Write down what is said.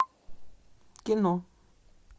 кино